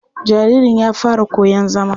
Jaririn ya fara koyon zama.